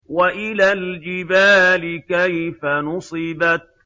وَإِلَى الْجِبَالِ كَيْفَ نُصِبَتْ